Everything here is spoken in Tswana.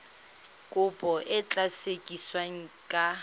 kopo e tla sekasekiwa ka